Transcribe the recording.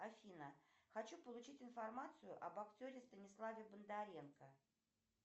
афина хочу получить информацию об актере станиславе бондаренко